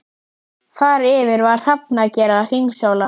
Þar yfir var hrafnager að hringsóla.